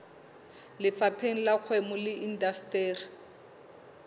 lefapheng la kgwebo le indasteri